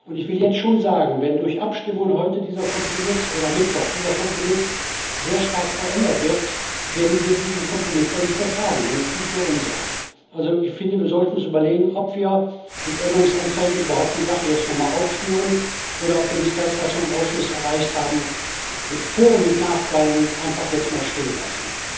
Ich will jetzt schon sagen Wenn durch Abstimmungen am Mittwoch dieser Kompromiss sehr stark verändert wird, werden wir diesen Kompromiss dann nicht mehr tragen, dann ist es nicht mehr unserer. Also ich finde, wir sollten uns überlegen, ob wir mit Änderungsanträgen die Sache überhaupt jetzt nochmal aufschnüren, oder ob wir nicht das, was wir im Ausschuss erreicht haben, mit Vor und mit Nachteilen einfach jetzt mal stehen lassen.